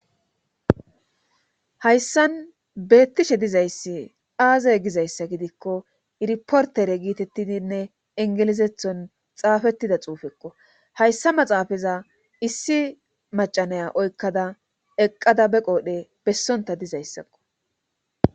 hayssan beettishe dizayssi aazey gizayssa gidikko irportere giitettidinne ingelizethon xaafettida xuufekko hayssa maxaafaza issi macanaya oykkada eqqada be qoodhe bessonta dizayssakko